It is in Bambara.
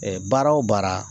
baara o baara